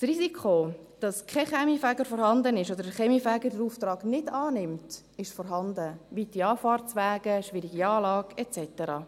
Das Risiko, dass kein Kaminfeger vorhanden ist oder der Kaminfeger den Auftrag nicht annimmt, ist vorhanden: weite Anfahrtswege, schwierige Anlagen et cetera.